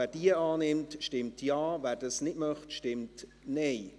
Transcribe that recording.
Wer diese annimmt, stimmt Ja, wer dies nicht möchte, stimmt Nein.